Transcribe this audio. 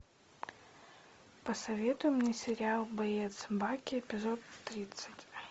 посоветуй мне сериал боец баки эпизод тридцать